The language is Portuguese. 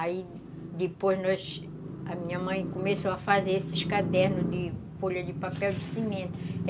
Aí, depois, nós, a minha mãe começou a fazer esses cadernos de folha de papel de cimento.